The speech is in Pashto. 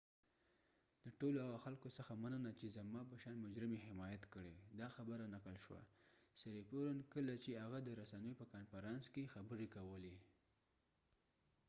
"د ټولو هغو خلکو څخه مننه چې زما په شان مجرم یې حمایت کړي"، سیریپورنsiriporn دا خبره نقل شوه ، کله چې هغه د رسنیو په کانفرانس کې خبری کولی